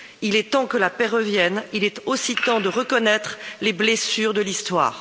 Il est temps que la paix revienne, il est aussi temps de reconnaître les blessures de l'Histoire.